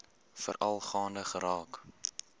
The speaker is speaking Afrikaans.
veral gaande geraak